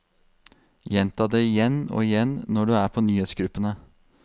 Gjenta det igjen og igjen når du er på nyhetsgruppene.